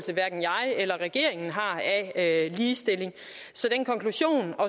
regeringen har af ligestilling så den konklusion og